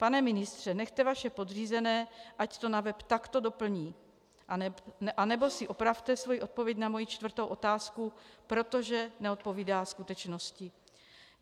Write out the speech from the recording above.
Pane ministře, nechte vaše podřízené, ať to na web takto doplní, anebo si opravte svoji odpověď na moji čtvrtou otázku, protože neodpovídá skutečnosti.